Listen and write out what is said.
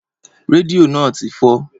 Rédíò náà ti fọ́.